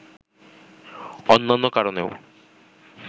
অন্যান্য কারণেও